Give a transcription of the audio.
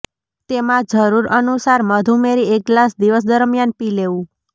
તેમાં જરૂર અનુસાર મધ ઉમેરી એક ગ્લાસ દિવસ દરમિયાન પી લેવું